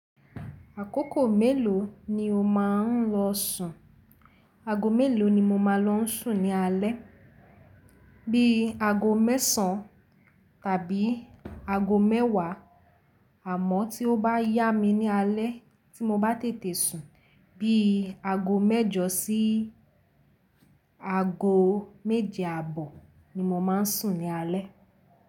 Àkókò mélòó ni o máa ń lọ sùn? Aago mélòó ni mo máa n lọ sùn ní alé? Bí aago mẹ́sàn tàbí aago mẹ́wàá, àmọ́ tí ó bá yá mi ní alé tí mo bá tètè sùn, bí aago mẹ́jọ sí aago méje àbọ̀ ni mo máa ń sùn ní alé.